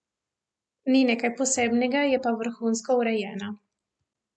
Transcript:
Ni nekaj posebnega, je pa vrhunsko urejena.